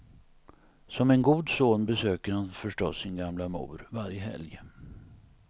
Som en god son besöker han förstås sin gamla mor varje helg.